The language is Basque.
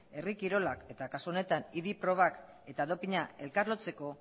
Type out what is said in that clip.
herri kirolak eta kasu honetan idi probak eta doping a elkarlotzeko